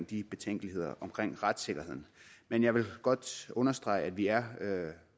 de betænkeligheder omkring retssikkerheden men jeg vil godt understrege at vi er